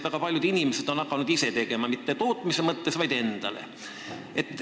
Väga paljud inimesed on hakanud ise õlut tegema, mitte tootmise eesmärgil, vaid endale.